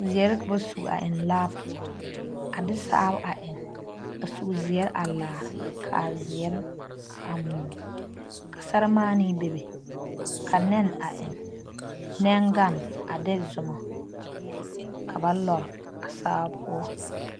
Zeɛre ka ba suŋ a eŋe. laa poɔ, a de sao a eŋe a suu zeɛre a laare, ka a zeɛre. a moɔ ka seremaane bebe ka nɛne a eŋe, nɛne gan a de Zuma ka ba lɔre a sao poɔ.